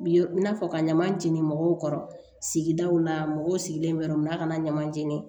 Bi ye i n'a fɔ ka ɲaman jeni mɔgɔw kɔrɔ sigidaw la mɔgɔw sigilen bɛ yɔrɔ mun na a kana ɲama jeni